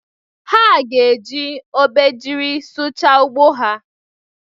Ha ga-eji obejiri sụchaa ugbo ha.